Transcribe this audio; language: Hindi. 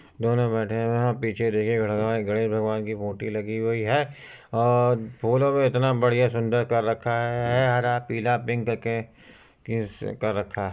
दोनों बैठे हुए है और पीछे देखिए गणेश भगवान की मूर्ति लगी हुई है और फूलों को इतना बढ़िया सुंदर कर रखा है। हरा पीला पिंक के कर रखा है।